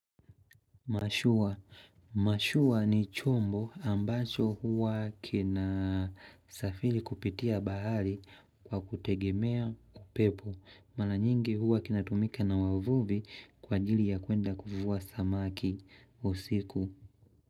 Mashua. Mashua ni chombo ambacho huwa kina safiri kupitia bahari kwa kutegemea kupepo. Mala nyingi huwa kinatumika na wavuvi kwa ajili ya kuenda kuvua samaki usiku.